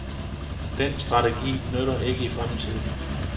Den strategi nytter ikke i fremtiden.